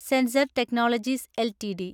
sensor technologies LTD